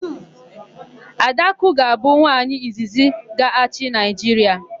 Adakụ ga-abụ nwaanyị izizi ga-achị Naịjiria.